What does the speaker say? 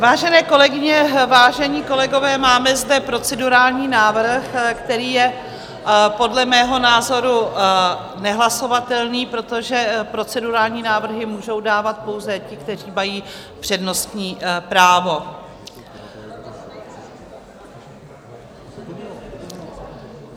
Vážené kolegyně, vážení kolegové, máme zde procedurální návrh, který je podle mého názoru nehlasovatelný, protože procedurální návrhy můžou dávat pouze ti, kteří mají přednostní právo.